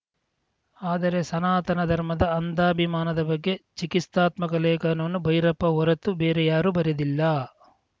ಆದರೆ ಸನಾತನ ಧರ್ಮದ ಅಂದಾಭಿಮಾದ ಬಗ್ಗೆ ಚಿಕಿತ್ಸಾತ್ಮಕ ಲೇಖನವನ್ನು ಭೈರಪ್ಪ ಹೊರತು ಬೇರೆ ಯಾರೂ ಬರೆದಿಲ್ಲ